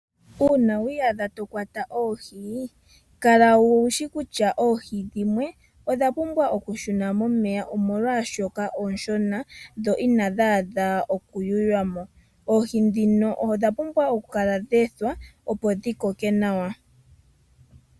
Uuna wa iyadha to kwata oohi kala wushi kutya oohi dhimwe odha pumbwa oku shuna momeya oshoka ooshona dhi I adhi adha oku yuywa mo oohi dhino odha pumbwa oku kala dha ethwa opo dhi kokeke nawa.